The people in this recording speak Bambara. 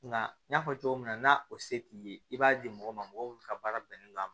Nka n y'a fɔ cogo min na n'a o se t'i ye i b'a di mɔgɔ ma mɔgɔ min ka baara bɛnnen don a ma